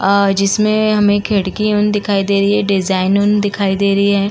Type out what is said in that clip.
आ जिसमें हमें खिड़की दिखाई दे रही है। डिजाइन दिखाई दे रही है।